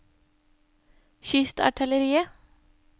kystartilleriet